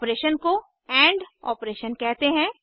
इस ऑपरेशन को and operation कहते हैं